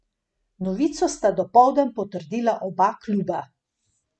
Novico sta dopoldan potrdila oba kluba.